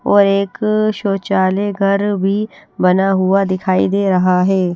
और एक शौचालय घर भी बना हुआ दिखाई दे रहा है।